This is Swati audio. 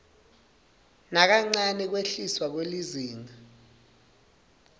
nakancane kwehliswa kwelizinga